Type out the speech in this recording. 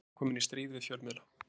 Ferguson kominn í stríð við fjölmiðla